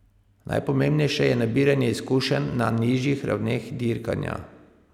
Najpomembnejše je nabiranje izkušenj na nižjih ravneh dirkanja.